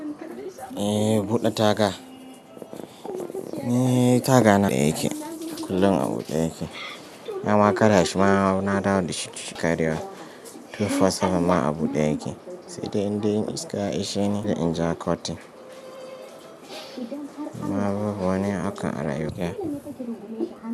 Eh, buɗe taga. Taga na a buɗe yake. Kullum a buɗe yake. Na ma ƙara shima na dawo da shi cikin kariyar two four seven ma a buɗe yake, sai dai indai iska ya ishe ni sai in ja kwatin. Kuma babu wani hakan a.